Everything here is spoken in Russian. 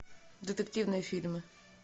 детективные фильмы